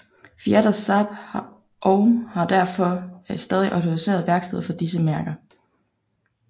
Fiat og Saab og har derfor stadig autoriserede værksteder for disse mærker